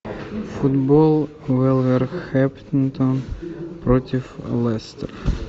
футбол вулверхэмптон против лестер